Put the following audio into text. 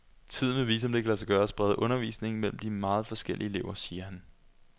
Tiden vil vise om det kan lade sig gøre at sprede undervisningen mellem de meget forskellige elever, siger han.